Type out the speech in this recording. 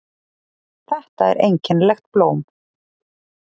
Þetta er einkennilegt blóm.